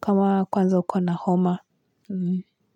kama kwanza uko na homa.